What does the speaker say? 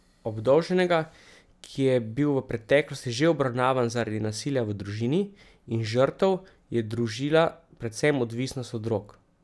Obdolženega, ki je bil v preteklosti že obravnavan zaradi nasilja v družini, in žrtev je družila predvsem odvisnost od drog.